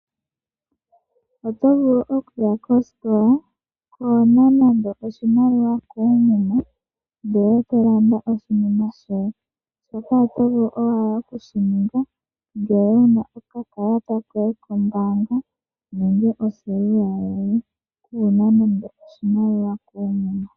Oto vulu okuya kostola kwaana nando oshimaliwa koomuma, ee to landa oshinima shoye, shika oto vulu owala oku shi ninga ngele wu na okakalata koye kombaanga nenge oselula yoye.